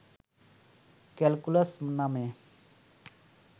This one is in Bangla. ক্যালকুলাস নামে